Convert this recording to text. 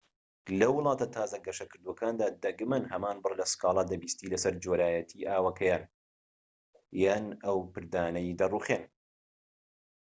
لە وڵاتە تازە گەشەکردووەکاندا دەگمەن هەمان بڕ لە سكالا دەبیستیت لەسەر جۆرایەتی ئاوەکەیان یان ئەو پردانەی دەڕوخێن